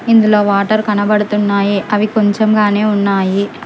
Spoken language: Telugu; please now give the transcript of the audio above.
ఇందులో వాటర్ కనబడుతున్నాయి అవి కొంచెం గానే ఉన్నాయి.